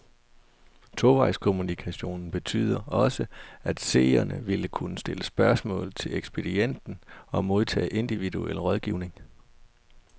Tovejskommunikationen betyder også, at seerne vil kunne stille spørgsmål til ekspedienten og modtage individuel rådgivning.